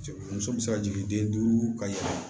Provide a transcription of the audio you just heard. Muso bɛ se ka jigin den duuru ka yɛlɛ